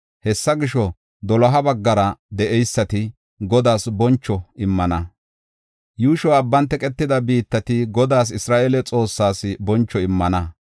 Hessa gisho, doloha baggara de7eysati, Godaas boncho immana; yuushoy abban teqetida biittati Godaas, Isra7eele Xoossaas boncho immana.